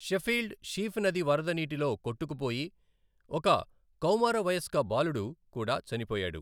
Sheffield, Sheaf నది వరద నీటిలో కొట్టుకుపోయి ఒక కౌమారవయస్క బాలుడు కూడా చనిపోయాడు.